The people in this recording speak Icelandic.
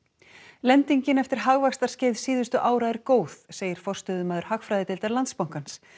lendingin eftir hagvaxtarskeið síðustu ára er góð segir forstöðumaður hagfræðideildar Landsbankans